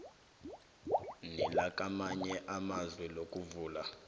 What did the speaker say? nelakamanye amazwe ngokuvula